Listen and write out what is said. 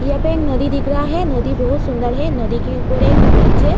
यहा पे एक नदी दिख रहा है। नदी बहोत सुन्दर है। नदी के ऊपर एक ब्रिज है।